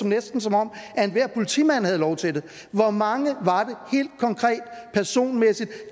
næsten som om enhver politimand havde lov til det hvor mange personer